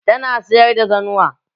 Tana sayar da zanuwa?